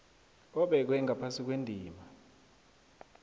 obekwe ngaphasi kwendima